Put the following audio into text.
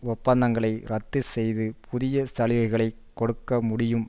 ஒப்பந்தங்களை இரத்து செய்து புதிய சலுகைகளை கொடுக்க முடியும்